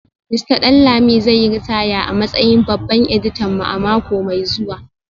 Mista Danlami zai yi ritaya a matsayin babban editan mu a mako mai zuwa